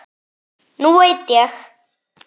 Nú veit ég.